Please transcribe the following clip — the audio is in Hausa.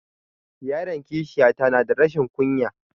Yaran kishiya ta na da rashin ƙunya